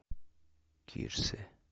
кирсе